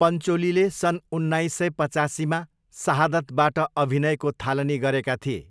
पन्चोलीले सन् उन्नाइस सय पचासीमा 'सहादत'बाट अभिनयको थालनी गरेका थिए।